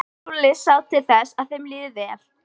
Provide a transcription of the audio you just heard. Lúlli sá til þess að þeim liði vel.